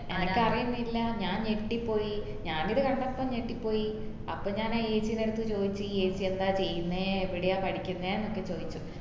എനക്കറീന്നില്ല ഞാൻ ഞെട്ടിപ്പോയി ഞാൻ ഇത് കണ്ടപ്പോ ഞെട്ടിപ്പോയി അപ്പൊ ഞാൻ ഏച്ചിന്റടുത് ചോതിച്ചു ഏച്ചി എന്താ ചെയ്യുന്നേ എവിടെയാ പഠിക്കുന്നെ ന്നൊക്കെ ചോയ്ച്ചു